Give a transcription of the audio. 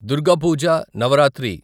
Durga Puja Navratri